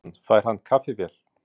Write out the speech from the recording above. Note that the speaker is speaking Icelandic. Jóhann: Fær hann kaffivél?